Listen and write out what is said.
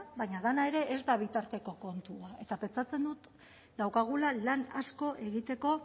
baina dena ere ez da bitarteko kontu bat eta pentsatzen dut daukagula lan asko egiteko